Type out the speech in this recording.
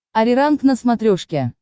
ариранг на смотрешке